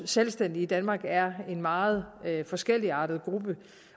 selvstændige i danmark er en meget forskelligartet gruppe